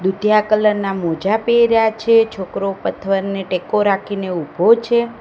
દુધિયા colour ના મોજા પેર્યા છે છોકરો પથ્થરને ટેકો રાખીને ઉભો છે.